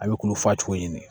A bɛ kulo fa cogo ɲini